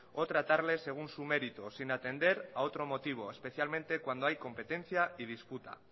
o tratarle según su mérito sin atender a otro motivo especialmente cuando hay competencia y disputa